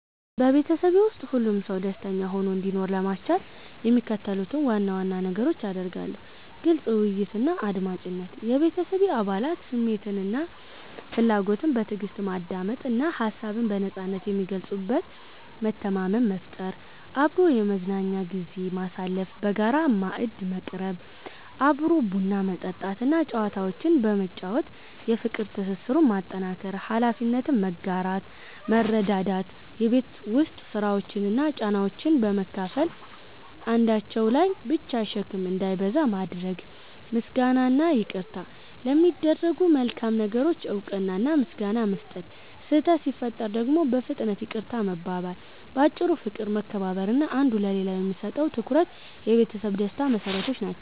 በቤተሰቤ ውስጥ ሁሉም ሰው ደስተኛ ሆኖ እንዲኖር ለማስቻል የሚከተሉትን ዋና ዋና ነገሮች አደርጋለሁ፦ ግልጽ ውይይትና አድማጭነት፦ የቤተሰቤን አባላት ስሜትና ፍላጎት በትዕግስት ማዳመጥ እና ሀሳብን በነጻነት የሚገልጹበት መተማመን መፍጠር። አብሮ የመዝናኛ ጊዜ ማሳለፍ፦ በጋራ ማዕድ መቅረብ፣ አብሮ ቡና መጠጣት እና ጨዋታዎችን በመጫወት የፍቅር ትስስሩን ማጠናከር። ኃላፊነትን መጋራትና መረዳዳት፦ የቤት ውስጥ ስራዎችን እና ጫናዎችን በመካፈል አንዳቸው ላይ ብቻ ሸክም እንዳይበዛ ማድረግ። ምስጋናና ይቅርታ፦ ለሚደረጉ መልካም ነገሮች እውቅና እና ምስጋና መስጠት፣ ስህተት ሲፈጠር ደግሞ በፍጥነት ይቅርታ መባባል። ባጭሩ፦ ፍቅር፣ መከባበር እና አንዱ ለሌላው የሚሰጠው ትኩረት የቤተሰብ ደስታ መሰረቶች ናቸው።